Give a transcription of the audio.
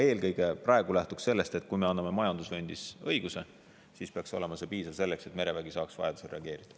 Eelkõige lähtume aga praegu sellest, et kui me anname majandusvööndis õiguse, siis peaks see olema piisav selleks, et merevägi saaks vajaduse korral reageerida.